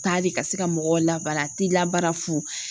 Taa de ka se ka mɔgɔw labaara a t'i labaara fu.